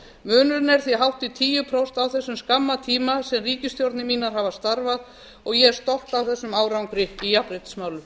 munurinn er því hátt í tíu prósentustig á þessum skamma tíma sem ríkisstjórnir mínar hafa starfað og ég er stolt af þessum árangri í jafnréttismálum